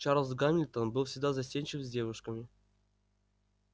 чарлз гамильтон был всегда застенчив с девушками